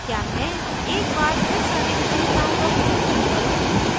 क्या मैं एक बार फिर सारी विशेषताओं का प्रदर्शन करूँ